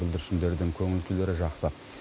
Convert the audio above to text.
бүлдіршіндердің көңіл күйлері жақсы